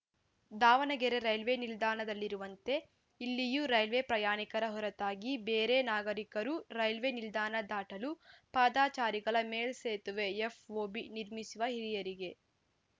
Davanagere railway ನಿಲ್ದಾಣದಲ್ಲಿರುವಂತೆ ಇಲ್ಲಿಯೂ railway ಪ್ರಯಾಣಿಕರ ಹೊರತಾಗಿ ಬೇರೆ ನಾಗರಿಕರೂ ರೈಲ್ವೆ ನಿಲ್ದಾಣ ದಾಟಲು ಪಾದಚಾರಿಗಳ ಮೇಲ್ಸೇತುವೆ ಎಫ್‌ಓಬಿ ನಿರ್ಮಿಸುವ ಹಿರಿಯರಿಗೆ